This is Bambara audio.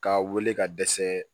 K'a wele ka dɛsɛ